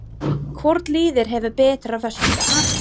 Hvort liðið hefur betur á föstudag?